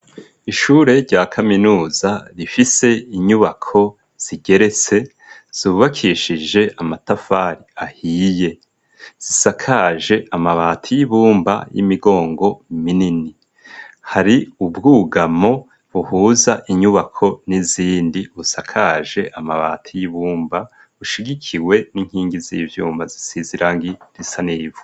Ishure rya kaminuza, rifise inyubako zigeretse, zubakishije amatafari, ahiye; zisakaje amabati, y'ibumba, y'imigongo, minini; hari ubwugamo, buhuza inyubako, n'izindi; busakaje amabati y'ibumba, bushigikiwe, n'inkingi z'ivyuma, zisize irangi risa n’ivu.